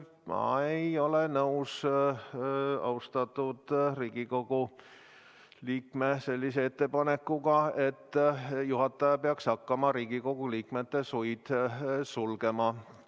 Ma ei ole nõus austatud Riigikogu liikme sellise ettepanekuga, et juhataja peaks hakkama Riigikogu liikmete suid sulgema.